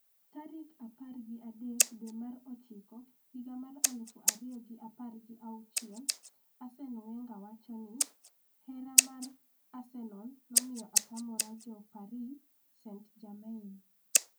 tarik apar gi adek dwe mar ochiko higa mar aluf ariyo gi apar gi auchiel . Arsene Wenger: 'Hera' mar Arsenal nomiyo atamra jo Paris St-Germain